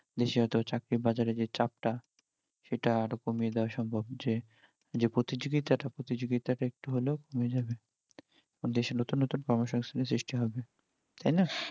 দেশে হয়তো চাকরির বাজারে যে চাপ টা সেটা আরও কমিয়ে দেওয়া সম্ভব যে যে প্রতিযোগিতা টা প্রতিযোগিতা টা একটু হলেও কমে যাবে দেশে নতুন নতুন কর্ম সংস্থান এর সৃষ্টি হবে তাই না?